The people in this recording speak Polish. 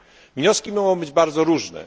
Wnioski mogą być bardzo różne.